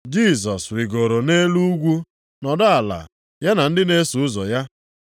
Jisọs rigooro nʼelu ugwu nọdụ ala ya na ndị na-eso ụzọ ya.